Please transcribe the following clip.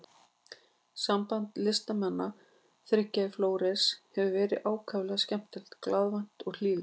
Samband listnemanna þriggja í Flórens hefur verið ákaflega skemmtilegt, glaðvært og hlýlegt.